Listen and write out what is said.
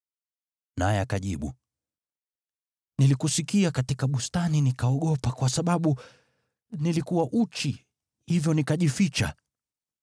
Naye akajibu, “Nilikusikia katika bustani nikaogopa kwa sababu nilikuwa uchi, hivyo nikajificha.”